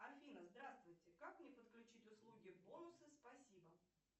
афина здравствуйте как мне подключить услуги бонусы спасибо